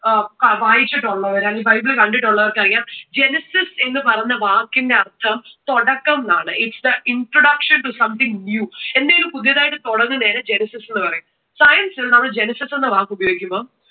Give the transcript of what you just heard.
അഹ് വായിച്ചിട്ടുള്ളവർ അല്ലെങ്കിൽ ബൈബിൾ കണ്ടിട്ടുള്ളവർക്ക് അറിയാം genesis എന്നു പറയുന്ന വാക്കിന്റെ അർഥം തുടക്കം എന്നാണ്. its an introduction to something new എന്തേലും പുതുതായിട്ട് തുടങ്ങുന്നതിനെ genesis എന്ന് പറയും. science ൽ നമ്മൾ genesis എന്ന വാക്കു ഉപയോഗിക്കുമ്പോൾ